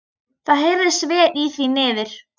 Það heyrðist vel í því niður.